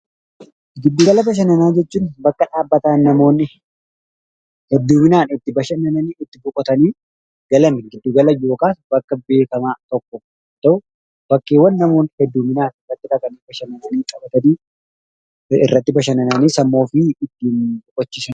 Giddu gala bashannanaa jechuun bakka dhaabbataa namoonni hedduminaan itti bashannanii, itti boqotanii galan giddu gala yookaan bakka beekamaa tokko yoo ta'u, bakkeeŵwan namoonni hedduminaan dhaqanii taphatanii, irratti bashannanii sammuu ofii ittiin boqochiisanidha.